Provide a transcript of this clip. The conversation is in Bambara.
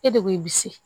E de ko i bi se